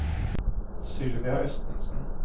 Sylvia Østensen